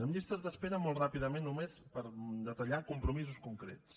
en llistes d’espera molt ràpidament només per detallar ho compromisos concrets